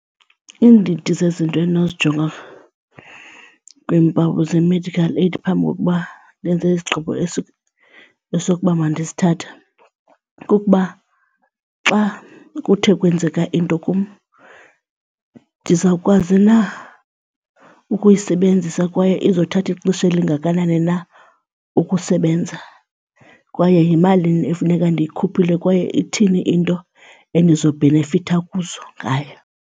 Iindidi zezinto endinozijonga kwiimpawu ze-medical aid phambi kokuba ndenze isigqibo esokuba mandisithathe kukuba xa kuthe kwenzeka into kum ndizawukwazi na ukuyisebenzisa kwaye izothatha ixesha elingakanani na ukusebenza. Kwaye yimalini efuneka endiyikhuphileyo kwaye ithini iinto endizobhenefitha kuzo ngayo.